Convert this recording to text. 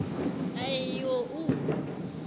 a e i o u